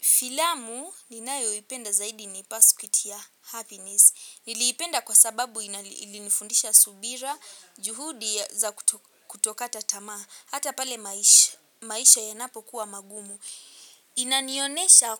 Filamu ninayoipenda zaidi ni pasukitia happiness. Niliipenda kwa sababu ilinifundisha subira, juhudi za kutokata tamaa. Hata pale maisha yanapokuwa magumu. Inanionesha